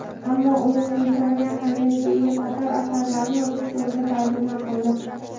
ammo umuminsoniy ahamiyatga ega qator asarlarini rus tilidan tarjima qildi.